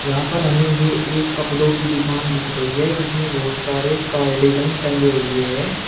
यहां पर हमें ये एक कपड़ों की दुकान दिख रही है जिसमें बहुत सारे कार्डिगन टंगे हुए हैं।